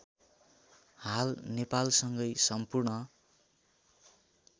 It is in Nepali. हाल नेपालसँगै सम्पूर्ण